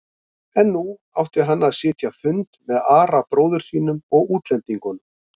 En nú átti hann að sitja fund með Ara bróður sínum og útlendingunum.